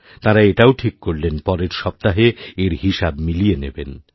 তাঁরা এটাও ঠিক করলেন পরের সপ্তাহে এর হিসাব মিলিয়ে নেবেন